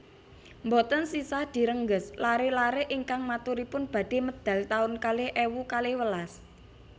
Mboten sisah direngges lare lare ingkang maturipun badhe medal taun kalih ewu kalih welas